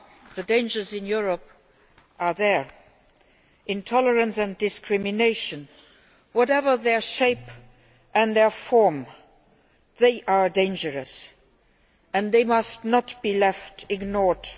The dangers in Europe are there. Intolerance and discrimination, whatever their shape and form, are dangerous and must not be left ignored.